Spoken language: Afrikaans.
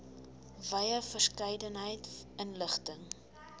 wye verskeidenheid inligting